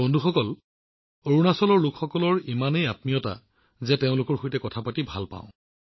বন্ধুসকল অৰুণাচলৰ লোকসকলৰ মনবোৰ ইমান উষ্ম যে মই তেওঁলোকৰ সৈতে কথা পাতি ভাল পাও